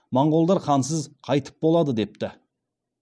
моңғолдар хансыз қайтіп болады депті